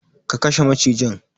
Ka kashe macijin.